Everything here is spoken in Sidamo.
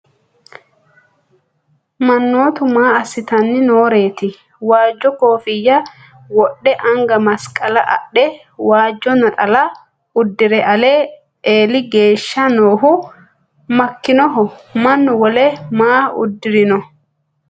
Manootti maa asittanni nooreetti? Waajjo koffinya wodhe anga masiqala adhe waajjo naxxalla uddire Ali eeli geeshsha noohu makkinnoho mannu wolu maa udirinno?